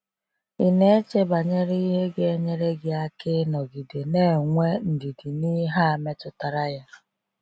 Ị na-eche banyere ihe ga enyere gị aka ị nọgide na-enwe ndidi n’ihe a metụtara ya?